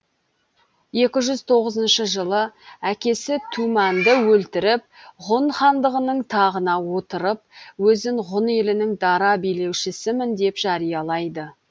екі жүз тоғызыншы жылы әкесі тумәнді өлтіріп ғұн хандығының тағына отырып өзін ғұн елінің дара билеушісімін деп жариялайды